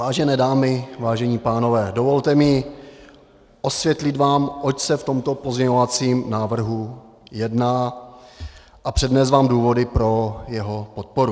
Vážené dámy, vážení pánové, dovolte mi osvětlit vám, oč se v tomto pozměňovacím návrhu jedná, a přednést vám důvody pro jeho podporu.